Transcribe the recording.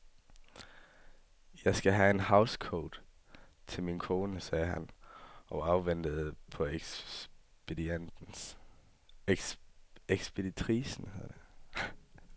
Jeg skal have en housecoat til min kone, sagde han og så afventende på ekspeditricen.